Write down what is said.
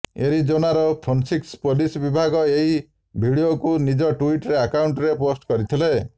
ଏରିଜୋନାର Phoenix police ବିଭାଗ ଏହି ଭିଡିଓକୁ ନିଜ ଟ୍ବିଇଟର ଆକାଉଣ୍ଟରେ ପୋଷ୍ଟ କରିଥିଲେ